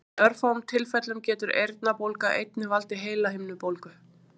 Í örfáum tilfellum getur eyrnabólga einnig valdið heilahimnubólgu.